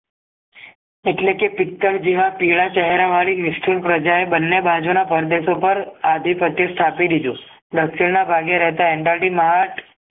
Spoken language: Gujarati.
એટલેકે પીતળ જેવા પીળા ચહેરા વાળી મીસઠુન પ્રજા એ બને બાજુના કોર્બેટ ઉપર આદીપ્ત સ્થાપીદીધૂ દક્ષિણ ના ભાગે રહેતા એન્ડાટીમાર્ટ